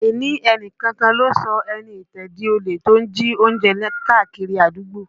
Àìní ẹni kankan lọ sọ Ẹniìtàn di olè tó ń jí oúnjẹ kiri àdúgbò